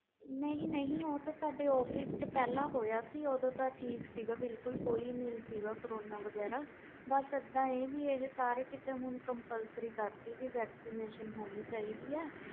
ਨਹੀਂ ਨਹੀਂ ਆਹ ਸਾਡੇ office ਵਿਚ ਹੋਈ ਸੀ vaccine ਹੁਣ ਤੇ compulsory ਕਰਤਾ ਕਿ ਲੱਗੀ ਹੋਣੀ ਚਾਹੀਦੀ ਆ